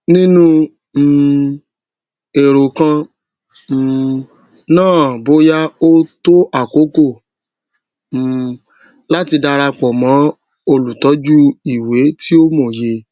nínú um èrò kan um náàboya ó tó àkókò um láti darapọ mọ olùtọjú ìwé ti ó mòye